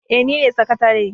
Eh nine sakatare.